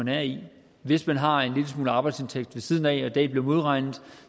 man er i hvis man har en lille smule arbejdsindtægt ved siden af og det er blevet modregnet